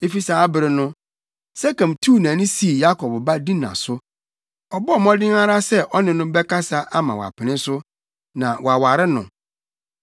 Efi saa bere no, Sekem tuu nʼani sii Yakob ba Dina so. Ɔbɔɔ mmɔden ara sɛ ɔne no bɛkasa ama wapene so, na waware no.